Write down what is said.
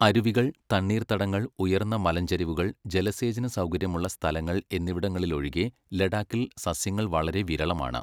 അരുവികൾ, തണ്ണീർത്തടങ്ങൾ, ഉയർന്ന മലഞ്ചരിവുകൾ, ജലസേചന സൗകര്യമുള്ള സ്ഥലങ്ങൾ എന്നിവിടങ്ങളിലൊഴികെ ലഡാക്കിൽ സസ്യങ്ങൾ വളരെ വിരളമാണ്.